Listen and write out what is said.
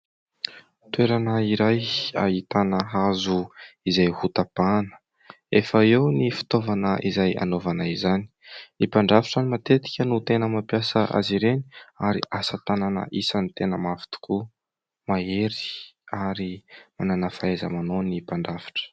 Toerana iray ahitana hazo izay ho tapahana. Efa eo ny fitaovana izay hanaovana izany. Ny mpandrafitra matetika no tena mampiasa azy ireny ary asa tànana isan'ny tena mafy tokoa. Mahery ary mànana fahaiza-manao ny mpandrafitra.